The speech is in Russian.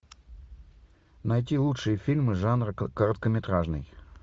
найти лучшие фильмы жанра короткометражный